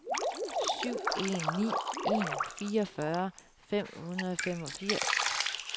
syv en ni en fireogfyrre fem hundrede og femogfirs